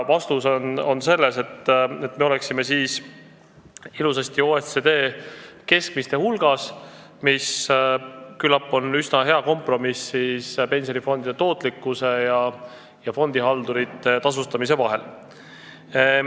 Vastus on selline, et me oleksime sel juhul ilusasti OECD keskmiste hulgas, mis küllap on üsna hea kompromiss pensionifondide tootlikkuse ja fondihaldurite tasustamise vahel.